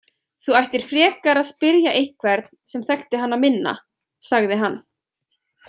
Þú ættir frekar að spyrja einhvern sem þekkti hana minna, sagði hann.